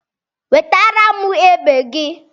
Wetara m egbe gị!